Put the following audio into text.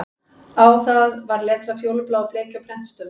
Á það var letrað fjólubláu bleki og prentstöfum